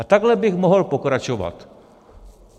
A takhle bych mohl pokračovat.